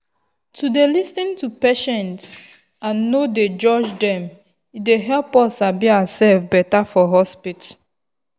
to dey lis ten to patience and nor dey judge them e dey help us sabi ourself better for hospital.